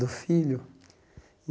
Do filho.